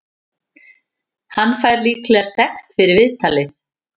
Hann fær líklega sekt fyrir viðtalið.